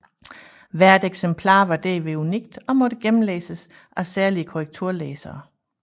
Hvert eksemplar var derved unikt og måtte gennemlæses af særlige korrekturlæsere